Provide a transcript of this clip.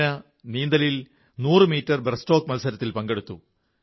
കരീന നീന്തലിൽ 100 metre breast stroke മത്സരത്തിൽ പങ്കെടുത്തു